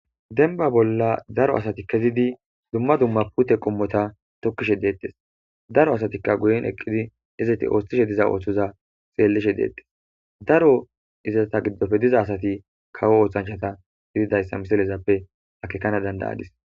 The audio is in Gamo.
denba bolla daro asati kezidi dumma dumma pute qummota tokkishe deettes daro asatikka guyin eqqidi izeti ooshtishe diza ooththoza xeellishe deettes daro izata giddofe diza asati kawo oothanchata gididayssa misilezappe akekana dandayadis